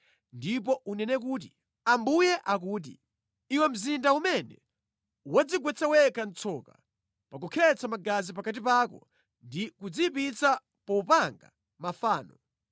ndipo unene kuti, ‘Ambuye akuti: Iwe mzinda umene wadzigwetsa wekha mʼtsoka pa kukhetsa magazi pakati pako ndi kudziyipitsa popanga mafano,